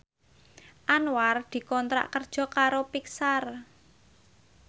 Anwar dikontrak kerja karo Pixar